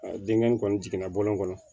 denkɛ in kɔni jiginna bɔlɔn kɔnɔ